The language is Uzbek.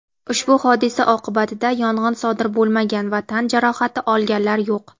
Ushbu hodisa oqibatida yong‘in sodir bo‘lmagan va tan jarohati olganlar yo‘q.